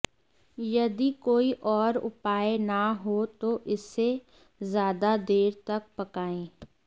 यदि कोई और उपाय न हो तो इसे ज्यादा देर तक पकाएं